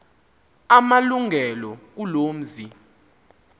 amalungelo kuloo mzi